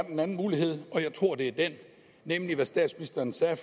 en anden mulighed og jeg tror det er den nemlig hvad statsministeren sagde